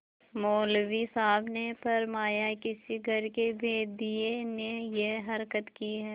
मौलवी साहब ने फरमाया किसी घर के भेदिये ने यह हरकत की है